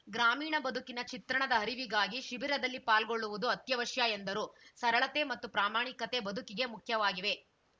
ಗ್ರಾಮೀಣ ಬದುಕಿನ ಚಿತ್ರಣದ ಅರಿವಿಗಾಗಿ ಶಿಬಿರದಲ್ಲಿ ಪಾಲ್ಗೊಳ್ಳುವುದು ಅತ್ಯವಶ್ಯ ಎಂದರು ಸರಳತೆ ಮತ್ತು ಪ್ರಾಮಾಣಿಕತೆ ಬದುಕಿಗೆ ಮುಖ್ಯವಾಗಿವೆ